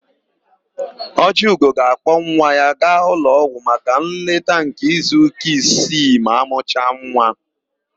Ọjịugo ga-akpọ nwa ya gaa ụlọọgwụ maka nleta nke izuụka isii ma amụcha nwa.